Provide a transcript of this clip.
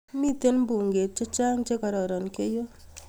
mito mbuget chechang che kororon keiyo